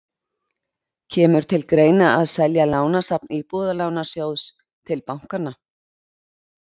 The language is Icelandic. Kemur til greina að selja lánasafn Íbúðalánasjóðs til bankanna?